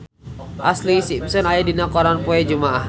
Ashlee Simpson aya dina koran poe Jumaah